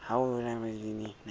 ha o sa re natsa